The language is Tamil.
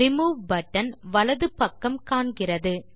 ரிமூவ் பட்டன் வலது பக்கம் காண்கிறது